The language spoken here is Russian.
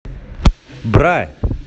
бра